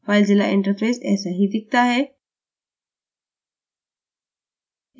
filezilla interface ऐसा ही दिखता है